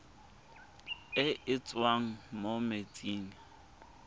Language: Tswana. e e tswang mo metsing